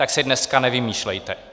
Tak si dneska nevymýšlejte!